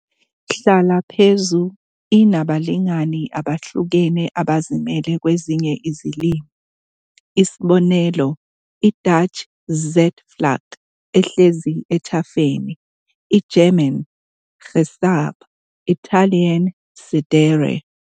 Hlala phezu, inabalingani abahlukahlukene abazimele kwezinye izilimi, isb., i-Dutch zitvlak, "ehlezi ethafeni", i-German Gesäß Italian sedere